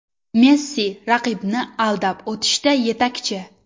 Messi raqibni aldab o‘tishda yetakchi.